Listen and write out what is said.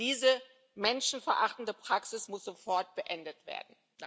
Diese menschenverachtende Praxis muss sofort beendet werden.